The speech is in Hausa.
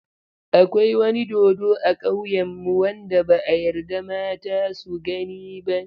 Akwai wani dodo a ƙauyenmu wanda ba a yarda mata su gani ba.